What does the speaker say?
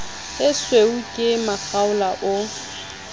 a siuwe ke makgaola o